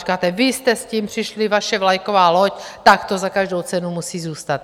Říkáte: Vy jste s tím přišli, vaše vlajková loď, tak to za každou cenu musí zůstat.